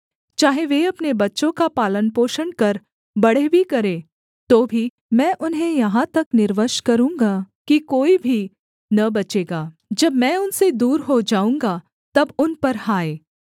चाहे वे अपने बच्चों का पालनपोषण कर बड़े भी करें तो भी मैं उन्हें यहाँ तक निर्वंश करूँगा कि कोई भी न बचेगा जब मैं उनसे दूर हो जाऊँगा तब उन पर हाय